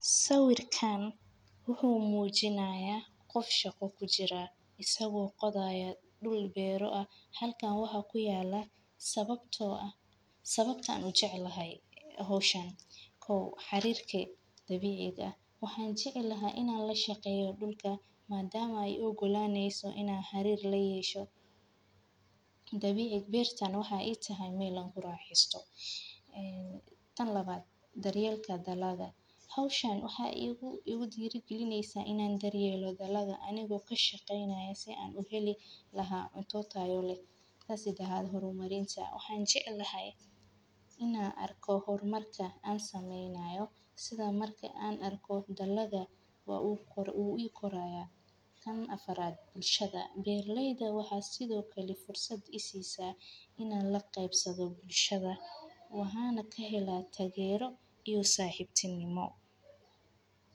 Sawirkaan wuxu muujinaya qof shako ku jira. Isagoo qodaya dhul beero ah halkaan waxaa ku yaala sababtoo ah. Sababta aanu jeclahay hawshaan, kow xiriirke dabiic ahi. Waxaan jeclahay inaan la shaqeeyo dhulka maadaama ay u gulaaneyso in aan xiriir loo yeesho dabiic beer taan waxa i tahay meel an ula raxiisto. Tan labaad. Daryeelka dalaga. Hawshaan waxa igu igu diragelineysaa inaan daryeelo dalaga anigoo ka shaqaynayo si aan u heli lahaa cunto tayole. Taasi dahaad horumariinsa. Waxaan jeclahay in aan arko hormarka aan samaynayo sida marka aan arko dalaga wuu u qoraya. Kan afaraad. Bulshada. Beerleyda waxaa sidoo kale fursad i siisaa in aan la qaabsado bulshada waana ka helaa tageero iyo saaxiibtinimo.